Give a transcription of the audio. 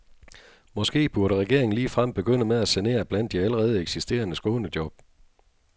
Måske burde regeringen ligefrem begynde med at sanere blandt de allerede eksisterende skånejob.